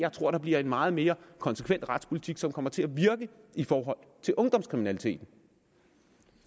bliver en meget mere konsekvent retspolitik som kommer til at virke i forhold til ungdomskriminalitet